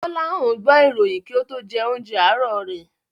Gbọ́láhàn gbọ́ ìròyìn kí ó tó jẹ oúnjẹ àárọ̀ rẹ̀.